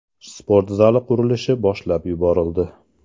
Sport zali qurilishi boshlab yuborildi.